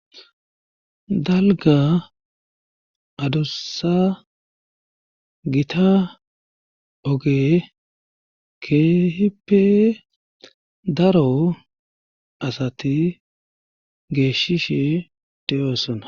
Dalga adussa gita oge keehippe daro asati geeshishe de'osona.